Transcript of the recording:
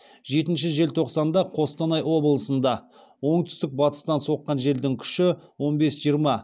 жетінші желтоқсанда қостанай облысында оңтүстік батыстан соққан желдің күші он бес жиырма